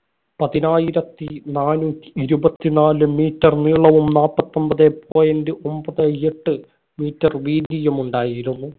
പതിനായിരത്തി നാനൂറ്റി ഇരുപത്തിനാല് meter നീളവും, നാപ്പത്തി ഒമ്പതേ point ഒമ്പതേ എട്ട് meter വീതിയും ഉണ്ടായിരുന്നു.